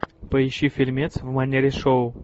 поищи фильмец в манере шоу